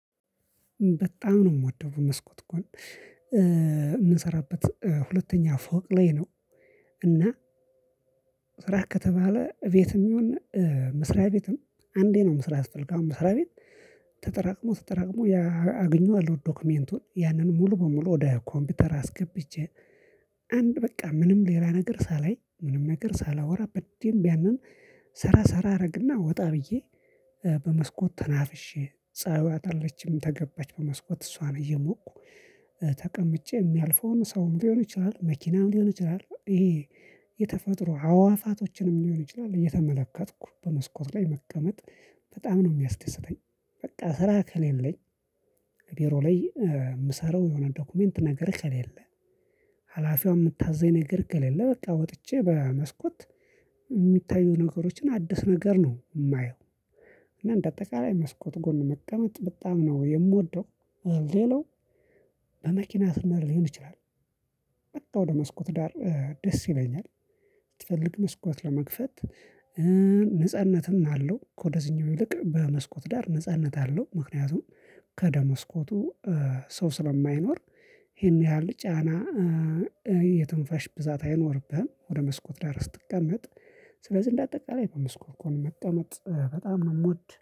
በጣም ነው የምወደው በመስኮት ጎን የምንሰራበት ሁለተኛ ፎቅ ላይ ነው። እና ስራ ከተባለ ቤትም የሆነ መስሪያ ቤትም አንዴ ነው። መስሪያ መስራት ስፈልግ አሁን መስሪያ ቤት ተጠራቅሞ ተጠራቅሞ አገኘዋል። ዶክመንቱን ያንን ሙሉ በሙሉ ወደ ኮምፒውተር አስገብቼ አንድ በቃ ምንም ሌላ ነገር ሳላይ ምንም ነገር ሳላወራ በደንብ ያንን ሰራ ሰራ አደረግና ወጣ። ብዬ በመስኮት ተናፍሼ ፀሀይዋን አለችም ተገባች በመስኮት እሷን እየሞኩ ተቀምጬ የሚያልፈውን ሰውም ሊሆን ይችላል መኪናም ሊሆን ይችላል። ይሄ የተፈጥሮ አዋፋቶችንም ሊሆን ይችላል እየተመለከትኩ በመስኮት ላይ መቀመጥ በጣም ነው የሚያስደስተኝ። በቃ ስራ ከሌለኝ ከቢሮ ላይ የምሰራው የሆነ ዶክመንት ነገር ከሌለ ሀላፊው የምታዘኝ ነገር ከሌለ በቃ ወጥቼ በመስኮት የሚታዩ ነገሮችን አዲስ ነገር ነው የማየው። እና እንደ አጠቃላይ መስኮት ጎን መቀመጥ በጣም ነው የምወደው። ሌላው በመኪና ስንሄድ ሊሆን ይችላል። በቃ ወደ መስኮት ዳር ደስ ይለኛል። ብትፈልግ መስኮት ለመክፈት ነጻነትም አለው ከወደዚህኛው ይልቅ በመስኮት ዳር ነጻነት አለው ምክንያቱም ከወደ መስኮቱ ሰው ስለማይኖር ይሄን ያህል ጫና የትንፋሽ ብዛት አይኖርብህም። ወደ መስኮት ዳር ስትቀመጥ ስለዚህ እንደ አጠቃላይ በመስኮት ጎን መቀመጥ በጣም ነው የምወድ